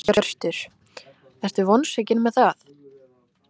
Hjörtur: Ertu vonsvikin með það?